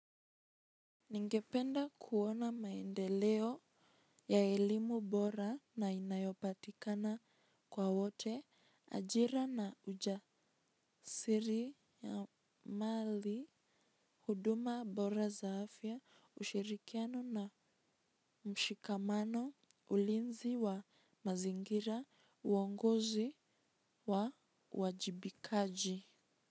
Ningependa kuona maendeleo ya elimu bora nainayopatikana kwa wote ajira na ujasiri ya mali huduma bora za afya ushirikiano na mshikamano ulinzi wa mazingira uwongozi wa wajibikaji.